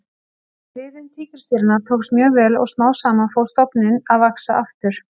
Friðun tígrisdýranna tókst mjög vel og smám saman fór stofninn að vaxa aftur.